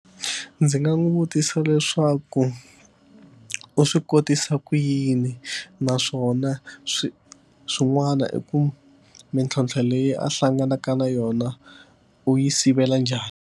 Ndzi nga n'wi vutisa leswaku u swi kotisa ku yini naswona swi swin'wana i ku mintlhontlho leyi a hlanganaka na yona u yi sivela njhani.